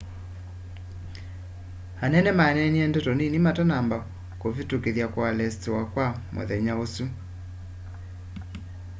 anene maneenie ndeto nini matanamba kĩvĩtũkĩtha kualesitiwa kwa mũthenya ũsu